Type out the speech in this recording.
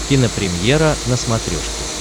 кинопремьера на смотрешке